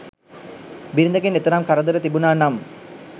බිරිඳගෙන් එතරම් කරදර තිබුණා නම්